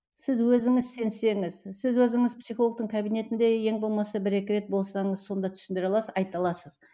сіз өзіңіз сенсеңіз сіз өзіңіз психологтың кабинетінде ең болмаса бір екі рет болсаңыз сонда түсіндіре аласыз айта аласыз